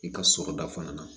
I ka sɔrɔda fana na